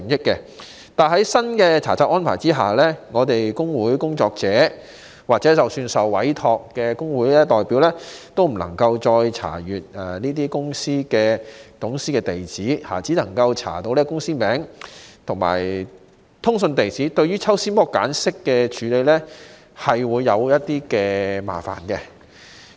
可是，在新查冊安排下，我們工會工作者或即使是受委託的工會代表，均不能夠再查閱公司董事的地址，只能夠查到公司名字和通訊地址，對抽絲剝繭式的處理個案會有一點麻煩。